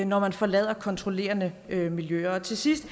når man forlader kontrollerende miljøer til sidst